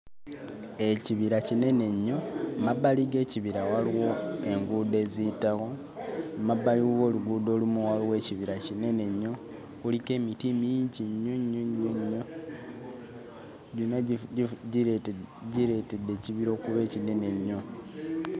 Ekibira kinene nnyo. Emabbali g'ekibira waliwo enguudo eziyitawo, emabbali w'oluguudo olumu waliwo ekibira kinene nnyo, kuliko emiti mingi nnyo nnyo nnyo, gyonna gifu... gireete... gireetedde ekibira okuba ekinene ennyo.